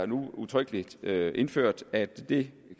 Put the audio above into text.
nu udtrykkeligt er indført at det